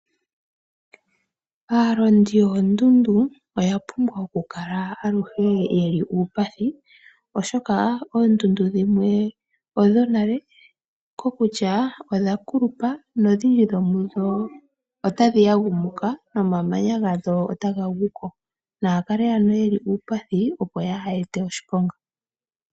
Aalondi yoondundu oya pumbwa oku kala aluhe yeli uupathi, oshoka oondundu dhimwe odho nale, ko kutya odha kulupa nodhindji dho mudho ota dhi yagumuka, nomamanya gadho ota ga guko. Naya kale ano ye li uupathi, opo yaa ha ete oshiponga.